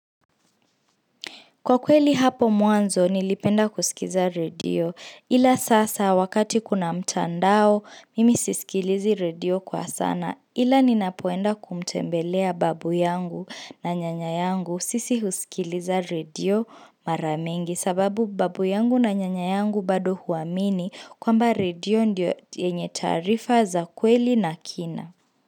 Kwa kweli hapo mwanzo nilipenda kusikiza radio ila sasa wakati kuna mtandao mimi sisikilizi radio kwa sana ila ninapoenda kumtembelea babu yangu na nyanya yangu sisi husikiliza radio mara mingi sababu babu yangu na nyanya yangu bado huamini kwamba radio ndio yenye taarifa za kweli na kina.